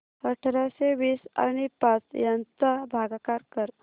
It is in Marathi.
अठराशे वीस आणि पाच यांचा भागाकार कर